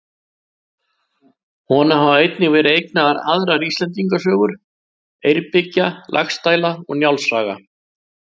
Honum hafa einnig verið eignaðar aðrar Íslendingasögur: Eyrbyggja, Laxdæla og Njáls saga.